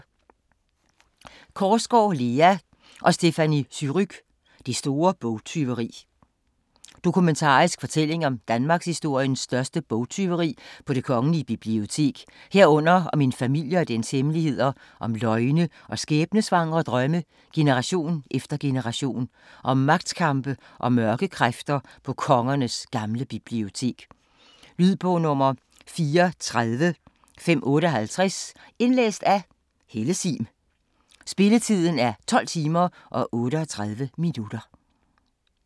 Korsgaard, Lea og Stéphanie Surrugue: Det store bogtyveri Dokumentarisk fortælling om danmarkshistoriens største bogtyveri på Det Kongelige Bibliotek, herunder om en familie og dens hemmeligheder, om løgne og skæbnesvangre drømme generation efter generation og om magtkampe og mørke kræfter på kongernes gamle bibliotek. Lydbog 34558 Indlæst af Helle Sihm Spilletid: 12 timer, 38 minutter.